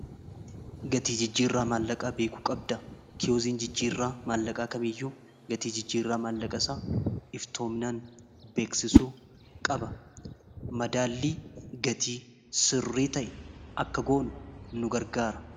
gatii jijjii irraa maallaqaa beekuu qabda kioziin jijjii irraa maallaqaa kame iyyuu gatii jijjii irraa maallaqa isaa iftoominaan beeksisuu qaba madaallii gatii sirrii ta'e akka goonu nu gargaara